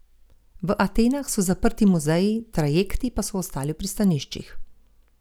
V Atenah so zaprti muzeji, trajekti pa so ostali v pristaniščih.